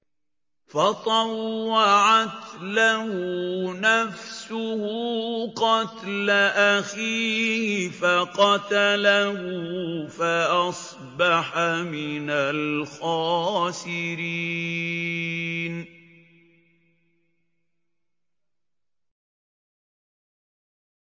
فَطَوَّعَتْ لَهُ نَفْسُهُ قَتْلَ أَخِيهِ فَقَتَلَهُ فَأَصْبَحَ مِنَ الْخَاسِرِينَ